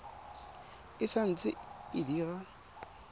e sa ntse e dira